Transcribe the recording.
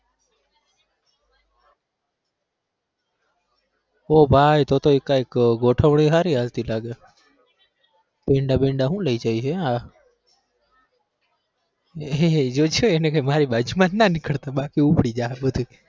ઓહ ભાઈ તો તો એકા એક ગોઠવણી હારી હાલતી લાગે છે પેંડા બેંડા હું લઇ જાય છે આ જો એને કેજે મારી બાજુ માં ના નીકળતો બાકી ઉપાડી જશે